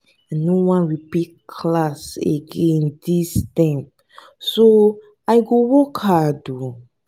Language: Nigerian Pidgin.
i no wan repeat class again dis term so i go work hard um